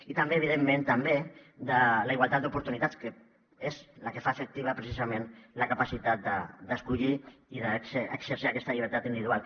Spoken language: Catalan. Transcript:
i també evidentment de la igualtat d’oportunitats que és la que fa efectiva precisament la capacitat d’escollir i d’exercir aquesta llibertat individual